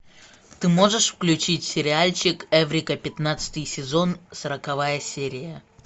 ты можешь включить сериальчик эврика пятнадцатый сезон сороковая серия